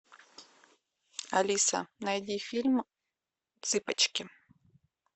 алиса найди фильм цыпочки